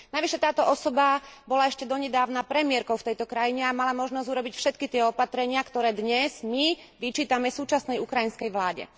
Navyše táto osoba bola ešte donedávna premiérkou v tejto krajine a mala možnosť urobiť všetky tie opatrenia, ktoré dnes my vyčítame súčasnej ukrajinskej vláde.